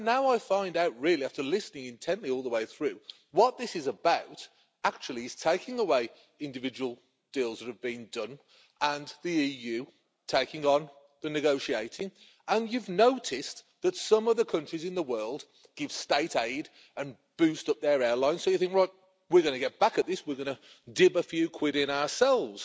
Now I find out really, after listening intently all the way through, what this is about, actually, is taking away individual deals that have been done and the EU taking on the negotiating. You've noticed that some of the countries in the world give state aid and boost up their airline, so you think, we are going to get back at this, we're going to dip a few quid in ourselves'.